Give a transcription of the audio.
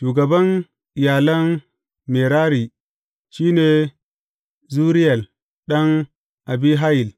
Shugaban iyalan Merari shi ne Zuriyel ɗan Abihayil.